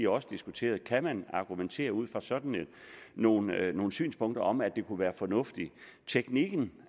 også diskuteret kan man argumentere ud fra sådan nogle nogle synspunkter om at det kunne være fornuftigt teknikken